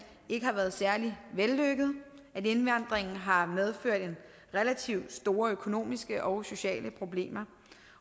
ikke har været særlig vellykket at indvandringen har medført relativt store økonomiske og sociale problemer